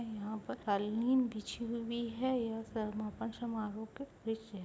यहाँ पर कालीन बिछी हुई है यह समापन समारोह का दृश्य है।